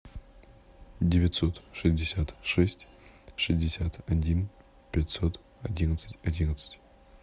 девятьсот шестьдесят шесть шестьдесят один пятьсот одиннадцать одиннадцать